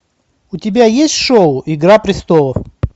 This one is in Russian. у тебя есть шоу игра престолов